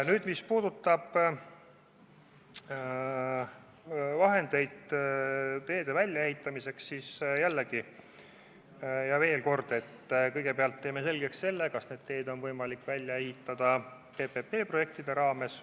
Nüüd, mis puudutab vahendeid teede väljaehitamiseks, siis ütlen veel kord, et kõigepealt teeme selgeks, kas need teed on võimalik välja ehitada PPP-projektide raames.